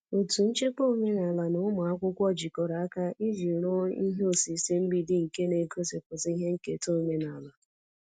Otu nchekwa omenala na ụmụ akwụkwọ jikọrọ aka iji rụọ ihe osise mgbidi nke na-egosipụta ihe nketa omenala.